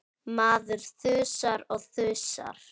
Maður þusar og þusar.